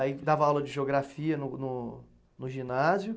Aí dava aula de geografia no no, no ginásio.